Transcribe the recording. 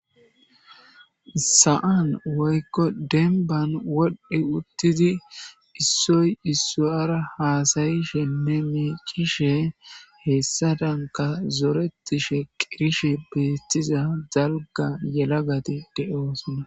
Sa'an woykko denban wodhdhe uttidi issoy issaara haasayishe memecishe hessadanka zoretishe qirishe beettiza zalga yelagati de'oosnna.